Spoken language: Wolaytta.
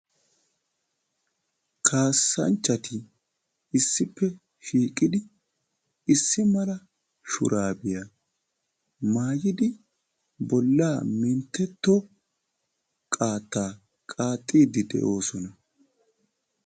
Kaassanchati issippe shiiqidi issi mala shuraabiya maayidi bollaa minttetto qaattaa qaaxxiidi de'oosona.